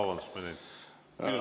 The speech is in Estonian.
Vabandust, ma ei näinud!